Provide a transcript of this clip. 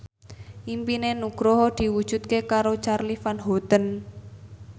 impine Nugroho diwujudke karo Charly Van Houten